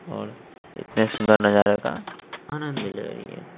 और इतने सुंदर नजारे का आनंद ले रही--